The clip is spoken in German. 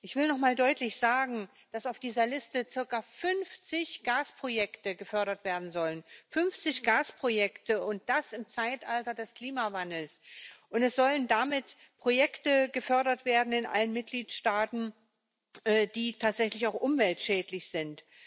Ich will noch einmal deutlich sagen, dass auf dieser Liste circa 50 Gasprojekte gefördert werden sollen 50 Gasprojekte, und das im Zeitalter des Klimawandels. Es sollen damit Projekte in allen Mitgliedstaaten gefördert werden, die tatsächlich auch umweltschädlich sind.